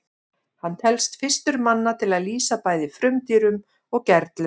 hann telst fyrstur manna til að lýsa bæði frumdýrum og gerlum